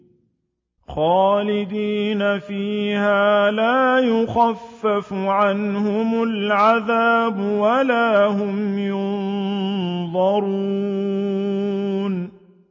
خَالِدِينَ فِيهَا لَا يُخَفَّفُ عَنْهُمُ الْعَذَابُ وَلَا هُمْ يُنظَرُونَ